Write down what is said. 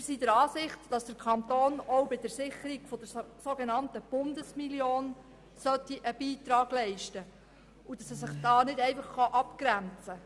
Wir sind der Ansicht, der Kanton müsse auch bei der Sicherung der sogenannten Bundesmillion einen Beitrag leisten und könne sich hier nicht einfach abgrenzen.